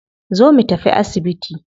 Zo mu tafi asibiti